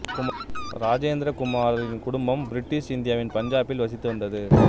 இராஜேந்திர குமாரின் குடும்பம் பிரிட்டிஷ் இந்தியாவின் பஞ்சாபில் வசித்து வந்தது